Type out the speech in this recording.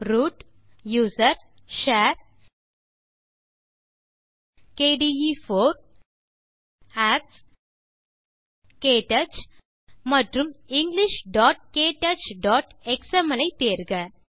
root gtusr gtshare gtkde4 gtapps ஜிடிகேடச் மற்றும் englishktouchஎக்ஸ்எம்எல் ஐ தேர்க